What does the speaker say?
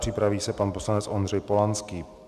Připraví se pan poslanec Ondřej Polanský.